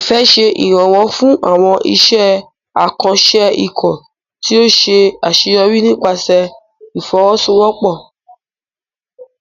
Ifẹ̀ ṣe ìrànwọ́ fún àwọn iṣẹ́ àkànṣe ikọ̀ tí ó ṣe àṣeyọrí nípasẹ̀ ìfọwọ́sowọ́pọ̀.